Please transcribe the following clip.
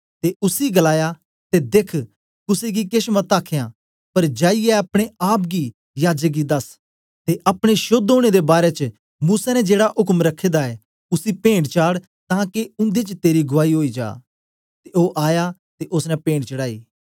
ते उसी गलाया देख्ख कुसे गी केछ मत आखना पर जाईयै अपने आप गी याजक गी दस ते अपने शोद्ध होने दे बारै च मूसा ने जेड़ा उक्म रखे दा ऐ उसी पेंट चाड़ तांके उन्दे च तेरी गुआई होई जा ते ओ आया ते ओसने पेंट चढ़ांई